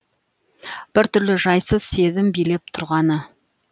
біртүрлі жайсыз сезім билеп тұрғаны